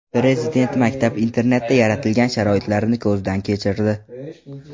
Prezident maktab-internatda yaratilgan sharoitlarni ko‘zdan kechirdi.